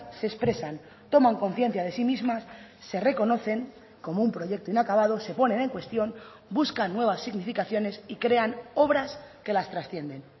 se expresan toman conciencia de sí mismas se reconocen como un proyecto inacabado se ponen en cuestión buscan nuevas significaciones y crean obras que las trascienden